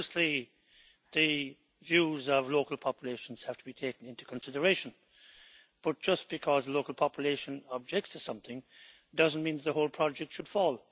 Obviously the views of local populations have to be taken into consideration, but just because the local population objects to something doesn't mean the whole project should fall.